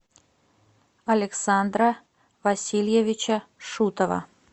александра васильевича шутова